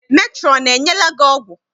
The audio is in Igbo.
Metrọn enyela gị ọgwụ?